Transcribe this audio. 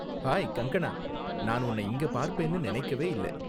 Hi, Kangana, நான் உன்ன இங்க பார்ப்பேன்னு நினைக்கவே இல்ல.